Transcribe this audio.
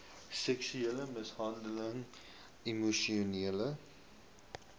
seksuele mishandeling emosionele